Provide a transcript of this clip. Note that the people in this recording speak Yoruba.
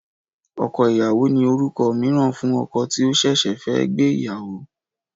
Ọkọ ìyàwó ni orúkọ mìíràn fún ọkọ tí ó ṣẹ̀ṣẹ̀ fẹ́ gbé ìyàwó